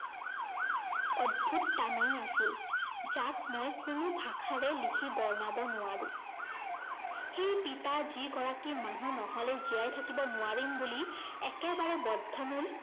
অদ্ভুত টানেই আছিল, যাক মই কোনো ভাষাৰে লিখি বৰ্ণাব নোৱাৰো। সেই পিতা যি গৰাকী মানুহ নহলে জীয়াই থাকিব নোৱাৰিম বুলি একেবাৰে বদ্ধমূল